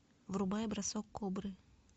врубай бросок кобры